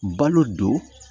Balo don